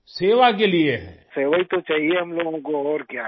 راجیش پرجاپتی خدمت ہی تو چاہیئے ہم لوگوں کو اور کیا؟